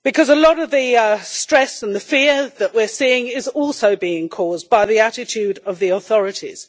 A lot of the stress and the fear that we are seeing is also being caused by the attitude of the authorities.